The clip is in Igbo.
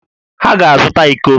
Ha ga-azụta íkó